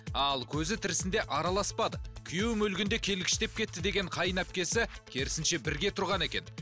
ал көзі тірісінде араласпадық күйеуім өлгенде келгіштеп кетті деген қайынәпкесі керісінше бірге тұрған екен